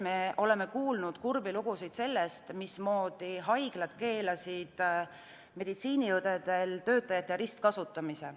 Me oleme kuulnud kurbi lugusid hooldekodudest, kus haiglad keelasid meditsiiniõdedel töötajate ristkasutamise.